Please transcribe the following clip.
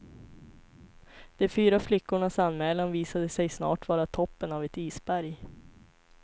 De fyra flickornas anmälan visade sig snart vara toppen av ett isberg.